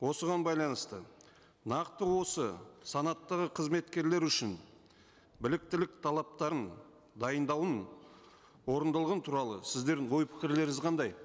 осыған байланысты нақты осы санаттағы қызметкерлер үшін біліктілік талаптарын дайындауын орындалған туралы сіздердің ой пікірлеріңіз қандай